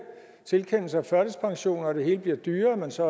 tilkendelser af førtidspension og det hele bliver dyrere så